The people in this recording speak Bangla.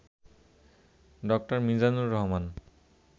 ড. মিজানুর রহমান